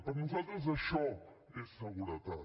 per nosaltres això és seguretat